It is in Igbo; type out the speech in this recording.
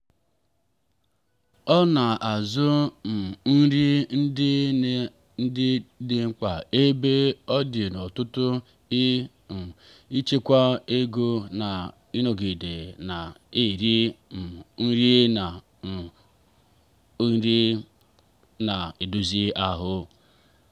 ha na-azụ um nri ndị nri dị mkpa ebe ọdi n'ọtụtụ iji um chekwaa ego na ịnọgide na-eri um nri na-eri um nri na-edozi ahụ.